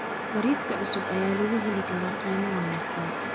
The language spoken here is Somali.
Bariiska cusub ayaa lagu heli karaa qiimo wanaagsan.